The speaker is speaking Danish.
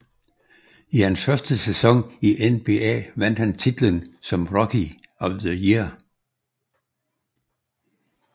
I hans første sæson i NBA vandt han titlen som Rookie of the year